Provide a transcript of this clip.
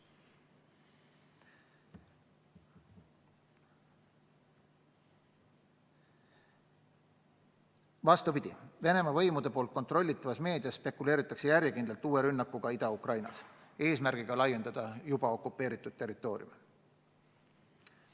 Vastupidi, Venemaa võimude kontrollitavas meedias spekuleeritakse järjekindlalt uue rünnakuga Ida-Ukrainas eesmärgiga juba okupeeritud territooriume laiendada.